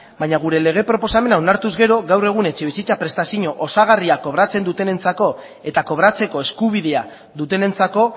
baina gure lege proposamena onartu ez gero gaur egun etxebizitza prestazio osagarria kobratzen dutenentzako eta kobratzeko eskubidea dutenentzako